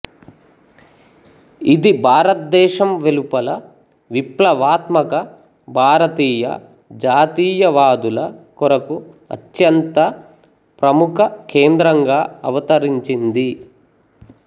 ఇది భారతదేశం వెలుపల విప్లవాత్మక భారతీయ జాతీయవాదుల కొరకు అత్యంత ప్రముఖ కేంద్రంగా అవతరించింది